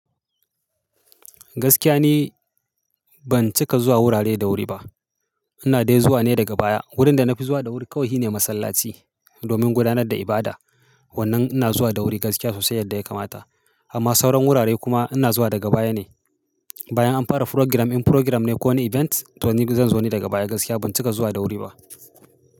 Gaskiya ne ban cika zuwa wurare da wuri ba. Ina dai zuwa ne daga baya. Wurin da na fi zuwa da wuri kawai shi ne masallaci domin gudanar da ibada. Wannan ina zuwa da wuri gaskiya sosai yadda ya kamata amma sauran wurare kuma ina zuwa daga baya ne. Bayan an fara furogram, in furogram ne ko wani event to ni zan zo ne daga baya. Gaskiya ban cika zuwa da wuri ba.